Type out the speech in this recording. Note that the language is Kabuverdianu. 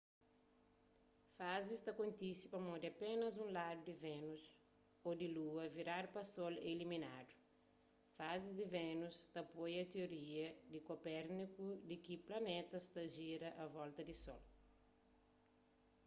fazis ta kontise pamodi apénas un ladu di vénus ô di lua viradu pa sol é iluminadu. fazis di vénus ta apoia tioria di kopérniku di ki planetas ta jira a volta di sol